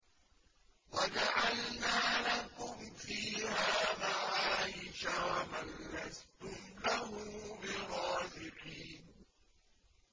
وَجَعَلْنَا لَكُمْ فِيهَا مَعَايِشَ وَمَن لَّسْتُمْ لَهُ بِرَازِقِينَ